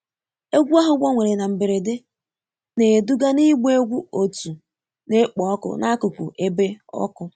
Egwu ahụ gbanwere na mberede, na-eduga n'ịgba egwu otu na-ekpo ọkụ n'akụkụ ebe ọkụ